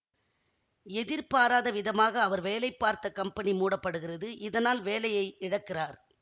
எதிர்பாராத விதமாக அவர் வேலை பார்த்த கம்பெனி மூடப்படுகிறது இதனால் வேலையை இழக்கிறார்